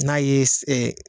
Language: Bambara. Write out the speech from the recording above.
N'a ye se ɛ